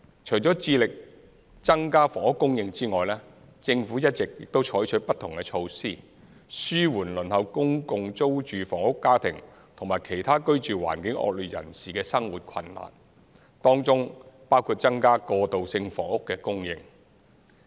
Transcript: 除致力增加房屋供應外，政府一直採取不同的措施，紓緩輪候公共租住房屋家庭和其他居住環境惡劣人士的生活困難，當中包括增加過渡性房屋的供應。